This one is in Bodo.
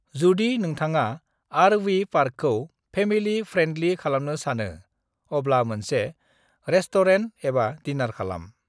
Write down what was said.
"जुदि नोंथांआ आर.वी. पार्कखौ फेमिलि फ्रेन्दलि खालामनो सानो, अब्ला मोनसे रेस्ट'रेन्ट एबा डिनार खालाम।"